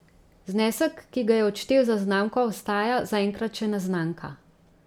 Znesek, ki ga je odštel za znamko, ostaja zaenkrat še neznanka.